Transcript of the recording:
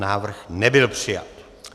Návrh nebyl přijat.